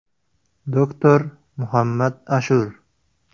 Doktor Muhammad Ashur.